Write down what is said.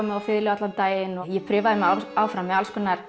mig á fiðlu allan daginn og ég prufaði mig áfram með